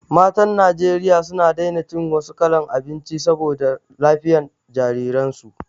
Matan Najeriya suna daina cin wasu kalan abinci saboda lafiyan jariran su